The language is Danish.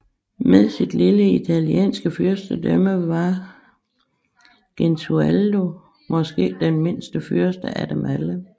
Med sit lille italienske fyrstedømme var Gesualdo måske den mindste fyrste af dem alle